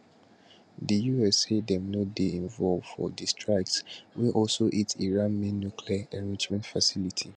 di us say dem no dey involved for di strikes wey also hit iran main nuclear enrichment facility